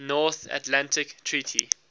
north atlantic treaty